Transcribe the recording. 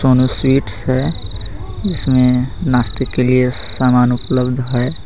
Sonu Sweets है जिसमें नास्ते के लिए सामान उयलब्ध है.